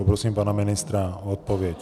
Poprosím pana ministra o odpověď.